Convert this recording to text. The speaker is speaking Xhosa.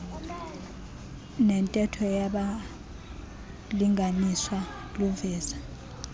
nentetho yabalinganiswa luveza